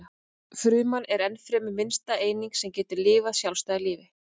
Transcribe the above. Fruman er ennfremur minnsta eining sem getur lifað sjálfstæðu lífi.